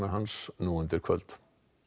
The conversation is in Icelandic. hans nú undir kvöld